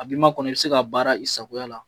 A b'i ma kɔnɔ, i bi se ka baara i sago la.